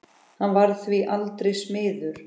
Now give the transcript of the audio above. Hann varð því aldrei smiður.